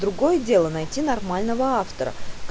другое дело найти нормального автора